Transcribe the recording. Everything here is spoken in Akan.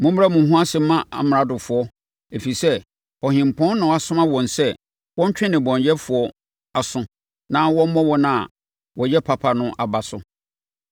Mommrɛ mo ho ase mma amradofoɔ, ɛfiri sɛ Ɔhempɔn na wasoma wɔn sɛ wɔntwe nnebɔneyɛfoɔ aso na wɔmmɔ wɔn a wɔyɛ papa no aba so.